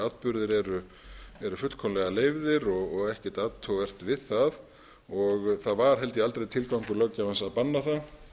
atburðir eru fullkomlega leyfðir og ekkert athugavert við það og það var held ég aldrei tilgangur löggjafans að banna það